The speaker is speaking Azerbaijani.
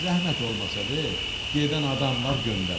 Zəhmət olmasa ver, gedən adam var, göndərim.